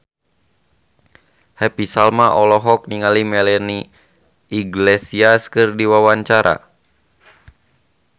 Happy Salma olohok ningali Melanie Iglesias keur diwawancara